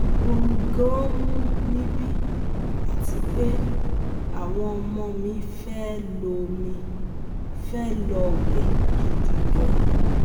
Ooru gan-an mu níbí àti pé àwọn ọmọ mi fe lo mi fe lo we gidi gan